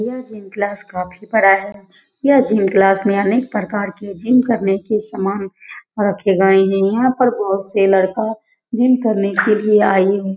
यह gym class काफी बड़ा है। यह जिम क्लास में अनेक प्रकार के जिम करने के समान रखे गए है। यहाँ पे बोहोत से लड़का जिम करने के लिए आयी हु --